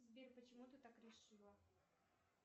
сбер почему ты так решила